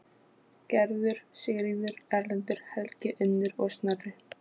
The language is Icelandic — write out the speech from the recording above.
Gerður, Sigríður, Erlendur, Helgi, Unnur og Snorri.